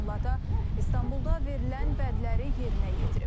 Bununla da İstanbulda verilən vədləri yerinə yetirib.